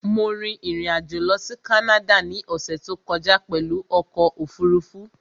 Mo rin ìrìn-àjò lọ sí Canada ní ọ̀ṣẹ̀ tó kọjá pẹ̀lú ọkọ̀ òfurufú